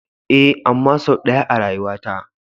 Ee. amma sau ɗaya a rayuwata.